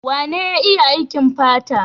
Wane ya iya aikin fata?